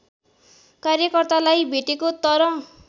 कार्यकर्तालाई भेटेको तर